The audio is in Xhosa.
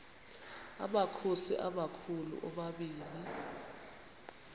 amakhosi amakhulu omabini